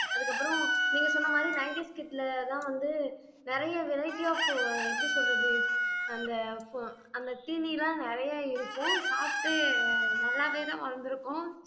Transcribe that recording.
அதுக்கப்புறம் நீங்க சொன்ன மாதிரி nineties kid ல தான் வந்து நிறைய variety of எப்படி சொல்றது அந்த அந்த சீனி எல்லாம் நிறைய இருக்கும் சாப்பிட்டு நல்லாவேதான் வளர்ந்திருக்கோம்